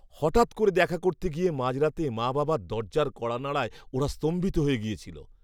হঠাৎ করে দেখা করতে গিয়ে মাঝরাতে মা বাবার দরজার কড়া নাড়ায় ওরা স্তম্ভিত হয়ে গিয়েছিল।